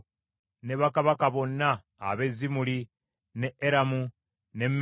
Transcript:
ne bakabaka bonna ab’e Zimuli, n’e Eramu n’e Meedi;